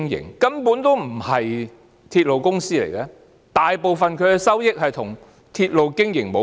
港鐵根本不是鐵路公司，大部分的收益與鐵路經營無關。